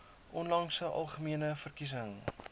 onlangse algemene verkiesing